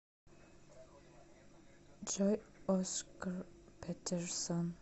джой оскар петерсон